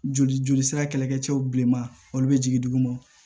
Joli joli sira kɛlɛkɛcɛw bilenman olu bɛ jigin duguma